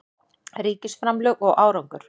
Ríkisframlög og árangur